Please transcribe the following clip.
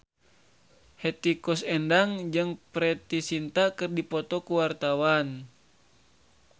Hetty Koes Endang jeung Preity Zinta keur dipoto ku wartawan